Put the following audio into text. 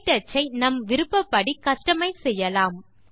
க்டச் ஐ நம் விருப்பபடி கஸ்டமைஸ் செய்யலாம்